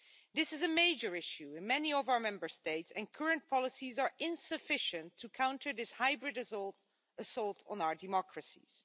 This is a major issue in many of our Member States and current policies are insufficient to counter this hybrid assault on our democracies.